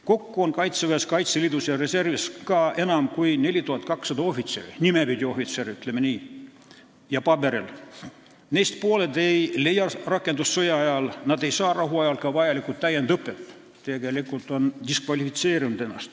Kokku on Kaitseväes, Kaitseliidus ja reservis enam kui 4200 ohvitseri – ohvitserid nime poolest ja paberil, ütleme nii –, neist pooled ei leia rakendust sõjaajal, nad ei saa rahuajal vajalikku täiendusõpet, tegelikult on nad ennast diskvalifitseerinud.